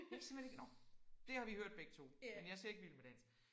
Jeg kan simpelthen ikke nåh det har vi hørt begge 2 men jeg ser ikke Vild med Dans